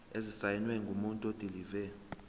esisayinwe ngumuntu odilive